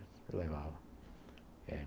Eu levava.